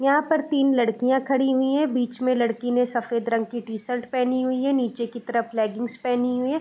यहां पर तीन लड़कियां खड़ी हुई है बीच में लड़की ने सफेद रंग की टी-शर्ट पहनी हुई है नीचे की तरफ लेगिंग्स पहनी हुई है।